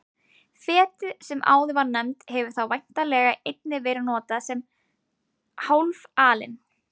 Fetið sem áður var nefnt hefur þá væntanlega einnig verið notað sem hálf alin.